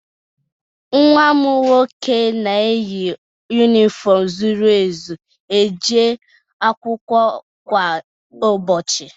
Nwa m nwoke na-eyi yunifọmụ zuru ezu eje akwụkwọ kwa ụbọchị.